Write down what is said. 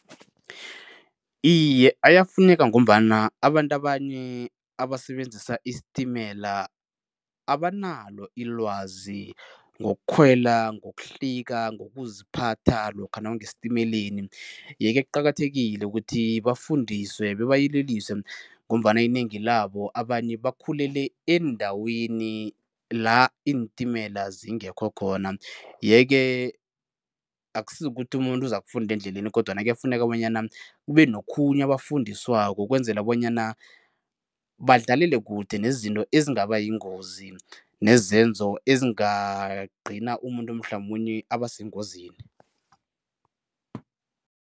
Iye, ayafuneka ngombana abantu abanye abasebenzisa isitimela abanalo ilwazi ngokukhwela, ngokuhlika, ngokuziphatha lokha nawungesitimeleni yeke kuqakathekile ukuthi bafundiswe babayeleliswe ngombana inengi labo abanye bakhulele eendaweni la iintimela zingekho khona yeke akusizi ukuthi umuntu uzakufunda endleleni kodwana kuyafuneka bonyana kube nokhunye abafundiswako ukwenzela bonyana badlalele kude nezinto ezingaba yingozi nezenzo ezingagcina umuntu mhlamunye aba sengozini.